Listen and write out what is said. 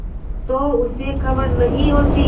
तो उसे खबर नहीं होती